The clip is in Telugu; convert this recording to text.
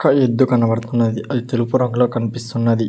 ఒక ఎద్దు కనబడుతున్నది అది తెలుపు రంగులో కనిపిస్తున్నది